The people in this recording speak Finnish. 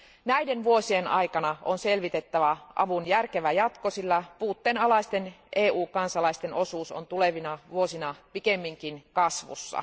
Näiden vuosien aikana on selvitettävä avun järkevä jatko, sillä puutteenalaisten EU kansalaisten osuus on tulevina vuosina pikemminkin kasvussa.